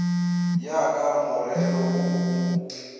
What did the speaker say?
ya ka morero wo o